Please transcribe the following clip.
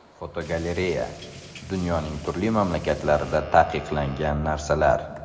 Fotogalereya: Dunyoning turli mamlakatlarida taqiqlangan narsalar.